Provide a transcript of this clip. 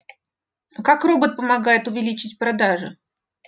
а как робот помогает увеличить продажи